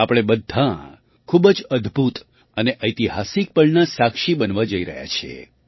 આપણે બધાં ખૂબ જ અદ્ભુત અને ઐતિહાસિક પળના સાક્ષી બનવા જઈ રહ્યા છીએ